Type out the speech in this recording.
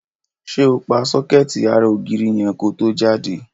Ṣé o pa sọ́kẹ́ẹ̀tì ara ògiri yẹn ko tó jáde?